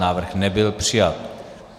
Návrh nebyl přijat.